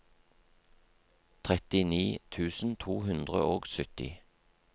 trettini tusen to hundre og sytti